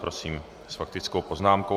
Prosím, s faktickou poznámkou.